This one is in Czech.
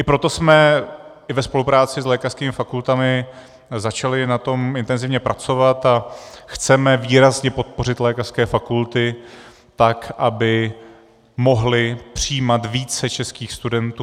I proto jsme i ve spolupráci s lékařskými fakultami začali na tom intenzivně pracovat a chceme výrazně podpořit lékařské fakulty tak, aby mohly přijímat více českých studentů.